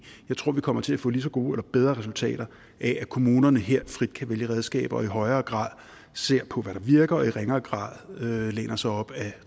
jeg tror vi kommer til at få lige så gode eller bedre resultater af at kommunerne her frit kan vælge redskaber og i højere grad ser på hvad der virker og i ringere grad læner sig op ad